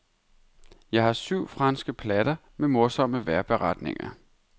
Jeg har syv franske platter med morsomme vejrberetninger.